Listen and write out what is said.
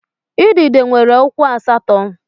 Udide nwere ụkwụ asatọ.